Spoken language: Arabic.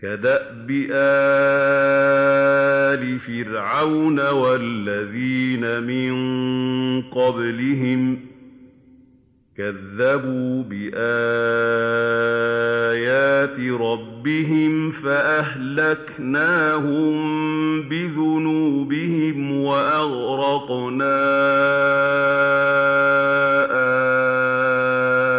كَدَأْبِ آلِ فِرْعَوْنَ ۙ وَالَّذِينَ مِن قَبْلِهِمْ ۚ كَذَّبُوا بِآيَاتِ رَبِّهِمْ فَأَهْلَكْنَاهُم بِذُنُوبِهِمْ وَأَغْرَقْنَا